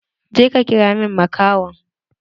Je ka kira min makahon!